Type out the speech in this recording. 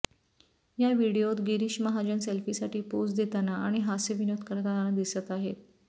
या व्हीडिओत गिरीश महाजन सेल्फीसाठी पोझ देताना आणि हास्यविनोद करताना दिसत आहेत